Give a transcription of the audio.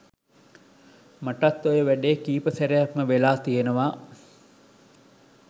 මටත් ඔය වැඩේ කීප සැරයක්ම වෙලා තියෙනවා